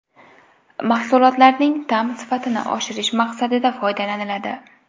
Mahsulotlarning ta’m sifatini oshirish maqsadida foydalaniladi.